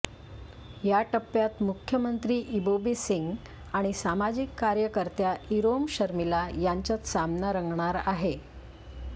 या टप्प्यात मुख्यमंत्री इबोबी सिंग आणि सामाजिक कार्यकर्त्या इरोम शर्मिला यांच्यात सामना रंगणार आहे